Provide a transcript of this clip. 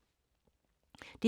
DR2